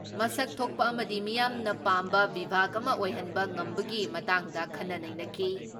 ꯃꯁꯛ ꯊꯣꯛꯄ ꯑꯃꯗꯤ ꯃꯤꯌꯥꯝꯅ ꯄꯥꯝꯕ ꯕꯤꯚꯥꯒ ꯑꯃ ꯑꯣꯏꯍꯟꯕ ꯉꯝꯕꯒꯤ ꯃꯇꯥꯡꯗ ꯈꯟꯅ ꯅꯩꯅꯈꯤ ꯫